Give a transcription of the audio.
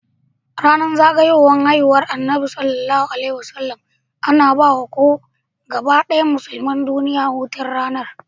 Yanar zagayowar haihuwar annabi SAW ana bawa gabadaya musulmai duniya hutun ranar